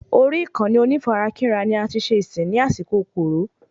Orí ìkànnì onífarakínra ni ati ṣe ìsìn ní àsìkò Coro